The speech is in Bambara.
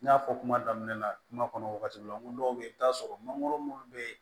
N y'a fɔ kuma daminɛ la kuma kɔnɔ wagati min na n ko dɔw bɛ yen i bɛ t'a sɔrɔ mangoro minnu bɛ yen